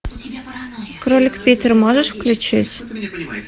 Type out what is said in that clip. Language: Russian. кролик питер можешь включить